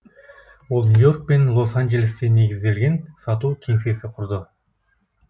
ол нью йорк пен лос анджелесте негізделген сату кеңсесі құрды